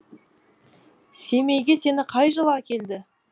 семейге сені қай жылы әкелді